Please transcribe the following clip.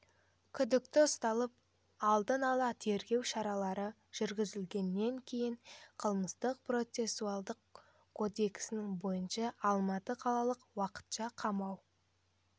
күдікті ұсталып алдын ала тергеу шаралары жүргізілгеннен кейін қылмыстық процессуалдық кодексінің бойынша алматы қалалық уақытша қамау